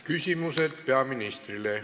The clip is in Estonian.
Küsimused peaministrile.